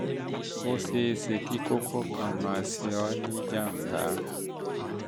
ó ṣe é ṣe é ṣe kí um kókó kan máa ṣe ọ́ ní um jàm̀bá um